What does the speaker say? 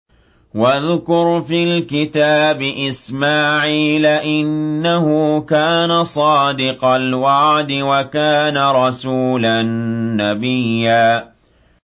وَاذْكُرْ فِي الْكِتَابِ إِسْمَاعِيلَ ۚ إِنَّهُ كَانَ صَادِقَ الْوَعْدِ وَكَانَ رَسُولًا نَّبِيًّا